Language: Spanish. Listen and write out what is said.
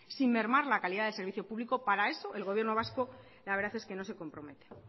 sin mermar la calidad del servicio público para eso el gobierno vasco la verdad es que no se compromete